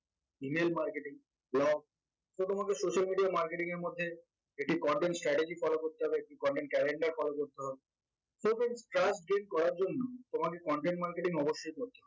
email marketing, blog তো তোমাকে social media marketing এর মধ্যে একটি content strategy follow করতে হবে একটি content calander follow করতে হবে so friends trust gain করার জন্য তোমাকে content marketing অবশ্যই করতে